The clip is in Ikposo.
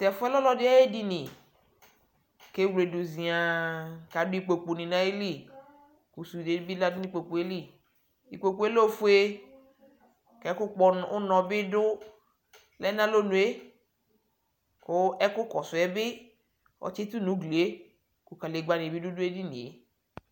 tʊ ɛfʊ yɛ lɛ ɔlɔdɩ ayʊ edini, kʊ ewle edini yɛ dʊ ziãã, kʊ sũnde bɩ lɛ nʊ ikpoku yɛ li, ikpoku yɛ lɛ ofue, kʊ ɛkʊ kpɔ unɔ bɩ lɛ nʊ alɔnʊ yɛ, kʊ ɛkʊ kɔsʊ ɛsɛ yɛ bɩ, ɔtsitʊ nʊ ugli yɛ, kʊ kadegbǝnɩ bɩ dʊ edini yɛ